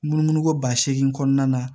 Munu munu ko ba seegin kɔnɔna na